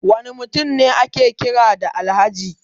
Wani mutum ne ake kira da Alhaji?